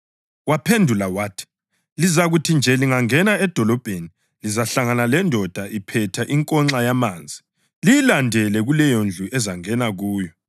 Waphendula wathi, “Lizakuthi nje lingena edolobheni, lizahlangana lendoda iphethe inkonxa yamanzi. Liyilandele kuleyondlu ezangena kuyo,